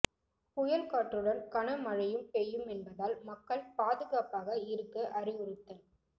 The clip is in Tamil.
புயல் காற்றுடன் கன மழையும் பெய்யும் என்பதால் மக்கள் பாதுகாப்பாக இருக்க அறிவுறுத்தல்